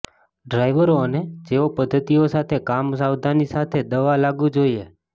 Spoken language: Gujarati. ડ્રાઈવરો અને જેઓ પદ્ધતિઓ સાથે કામ સાવધાની સાથે દવા લાગુ જોઈએ